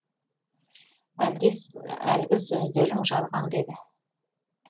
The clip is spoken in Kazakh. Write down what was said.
әлде әлгі сөздерің жалған ба еді